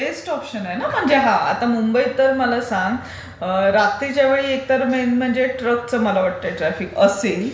Best option आहे न म्हणजे हा आता मुंबईत तर मला सांग, रात्रीच्या वेळेला एक म्हणजे ट्रकचं मला वाटते ट्राफिक असेल.